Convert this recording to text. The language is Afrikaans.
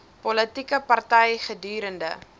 politieke party gedurende